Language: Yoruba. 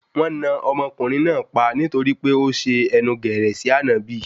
Wọn náà ọmọkùnrin náà pa nítorí pé ó ṣe ẹnu gẹ̀rẹ̀ sí ànábì